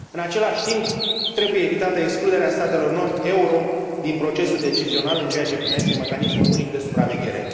În același timp, trebuie evitată excluderea statelor non euro din procesul decizional în ceea ce privește mecanismul unic de supraveghere.